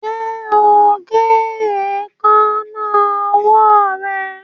Ṣe o ń gé Èékánná ọwọ́ rẹ.